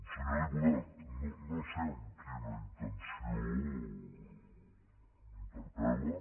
senyor diputat no sé amb quina intenció m’interpel·la